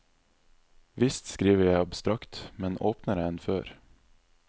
Visst skriver jeg abstrakt, men åpnere enn før.